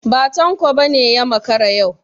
Ba Tanko ba ne ya makara yau.